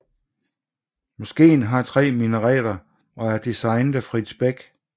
Moskeen har 3 minareter og er designet af Frits Beck